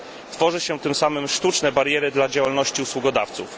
Tworzy się, tym samym, sztuczne bariery dla działalności usługodawców.